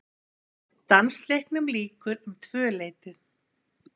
Dansleiknum lýkur um tvöleytið.